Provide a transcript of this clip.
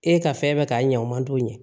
E ka fɛn bɛɛ ka ɲɛ o man d'o ye